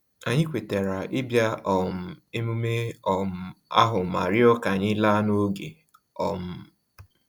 Anyị kwetara ibia um emume um ahu ma rịọ ka anyị laa n'oge um